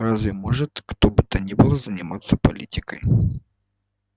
разве может кто бы то ни было не заниматься политикой